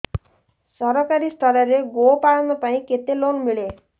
ସରକାରୀ ସ୍ତରରେ ଗୋ ପାଳନ ପାଇଁ କେତେ ଲୋନ୍ ମିଳେ